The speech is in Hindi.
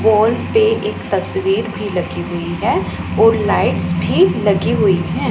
वॉल पे एक तस्वीर भी लगी हुई है और लाइट्स भी लगी हुई है।